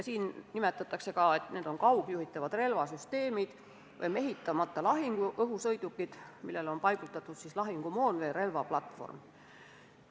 Neid nimetatakse ka kaugjuhitavateks relvasüsteemideks või mehitamata lahinguõhusõidukiteks, millele on paigutatud lahingumoon või relvaplatvorm.